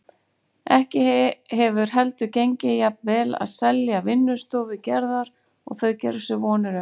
Ekki hefur heldur gengið jafnvel að selja vinnustofu Gerðar og þau gerðu sér vonir um.